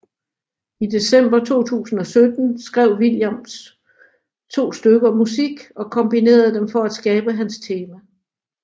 I december 2017 skrev Williams to stykker musik og kombinerede dem for at skabe Hans tema